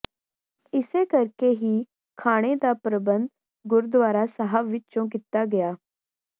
ਇਸੇ ਕਰਕੇ ਹੀ ਖਾਣੇ ਦਾ ਪ੍ਰਬੰਧ ਗੁਰਦੁਆਰਾ ਸਾਹਿਬ ਵਿਚੋਂ ਕੀਤਾ ਗਿਆ